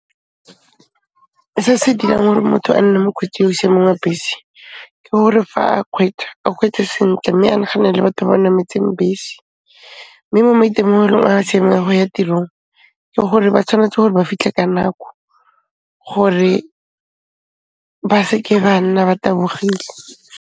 Se se dirang hore motho a nne mokgweetsi yo o siameng wa bese, ke gore fa a khweetsa, a kgweetse sentle mme a naganele batho ba nametseng bese, mme mo maitemogelong a siameng a go ya tirong, ke gore ba tshwanetse gore ba fitlha ka nako gore ba seke ba nna ba tabogile.